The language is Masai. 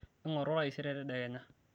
ingoru taisere tedekenya